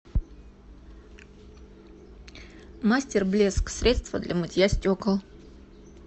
мастер блеск средство для мытья стекол